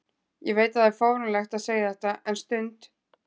Ég veit að það er fáránlegt að segja þetta en stund